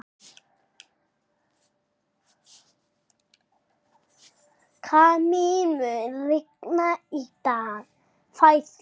Kamí, mun rigna í dag?